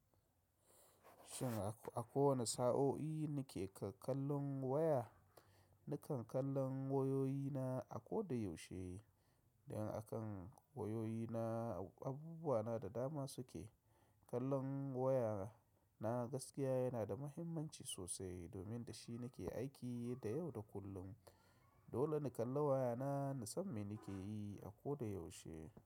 Shin a ko wane sa'o'i nake kallon waya? Nakan kallon wayoyina a koda yaushe, don a kan wayoyina abubuwa na da dama suke. Kallon waya na gaskiya yana da muhimmanci sosai domin da shi nake aiki da yau da kullum. Dole na kalla waya na, na san me nake yi a koda yaushe.